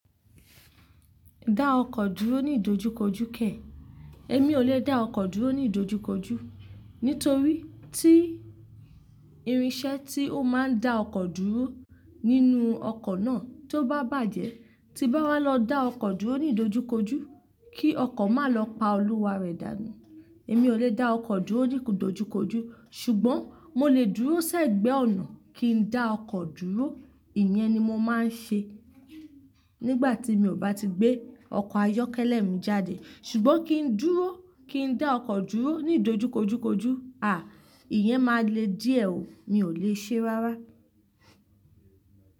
Dá ọkọ̀ dúró ní ìdojúkojú kẹ̀. Èmi ò lè dá ọkọ̀ dúró ní ìdojúkojú, nítorí tí irinṣẹ́ tí ó máa ń dá ọkọ̀ dúró nínú ọkọ̀ náà tó bá bàjẹ́, tí n bá wá lọ dá ọkọ̀ dúró ní ìdojúkojú kí ọkọ̀ má lọ pa olúwa rẹ̀ dànù. Èmi ò lè dá ọkọ̀ dúró ní ìdojúkojú, ṣùgbọ́n mo lè dúró ṣẹ̀gbẹ́ ọ̀nà kín dá ọkọ̀ dúró. Ìyẹn ni mo máa ń ṣe nígbà tí mi ò bá ti gbé ọkọ̀ ayọ́kẹ́lẹ́ mi jáde. Ṣùgbọ́n kín dúró, kín dá ọkọ̀ dúró ní ìdojúkojúkojú, à, ìyẹn máa le díẹ̀ ò, mi ò lè ṣe rárá.